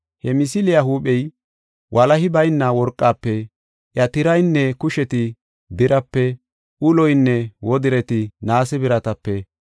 He misiliya huuphey, walahi bayna worqafe, iya tiraynne kusheti birape, uloynne wodireti naase biratape,